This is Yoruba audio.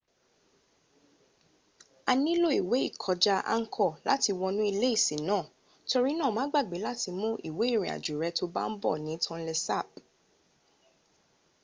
a nílò ìwé ìkọjá angkoṛ láti wọnú ilé ìsìn náà torínáà ma gbàgbé láti mú ìwé ìrìn àjò rę to bá n bọ̀ ní tonle sap